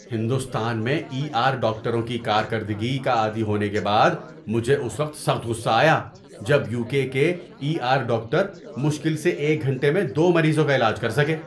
ہندوستان میں E R ڈاکٹروں کی کارکردگی کا عادی ہونے کے بعد، مجھے اس وقت سخت غصہ آیا جب یو کے کے ای آر ڈاکٹر مشکل سے ایک گھنٹے میں دو مریضوں کا علاج کر سکے۔